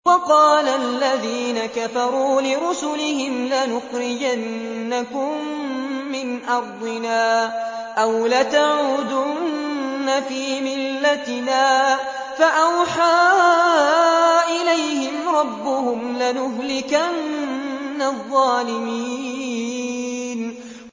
وَقَالَ الَّذِينَ كَفَرُوا لِرُسُلِهِمْ لَنُخْرِجَنَّكُم مِّنْ أَرْضِنَا أَوْ لَتَعُودُنَّ فِي مِلَّتِنَا ۖ فَأَوْحَىٰ إِلَيْهِمْ رَبُّهُمْ لَنُهْلِكَنَّ الظَّالِمِينَ